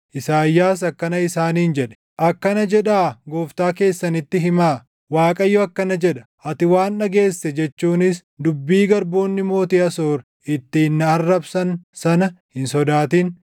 Isaayyaas akkana isaaniin jedhe; “Akkana jedhaa gooftaa keessanitti himaa; ‘ Waaqayyo akkana jedha: Ati waan dhageesse jechuunis dubbii garboonni mootii Asoor ittiin na arrabsan sana hin sodaatin.